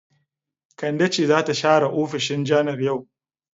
Kande ce za ta share ofishin janar yau.